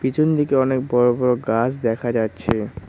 পিছন দিকে অনেক বড়ো বড়ো গাছ দেখা যাচ্ছে।